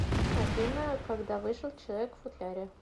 афина когда вышел человек в футляре